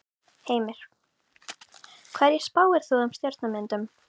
Heimir: Hverju spáir þú um stjórnarmyndun?